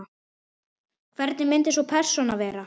Hvernig myndi sú persóna vera?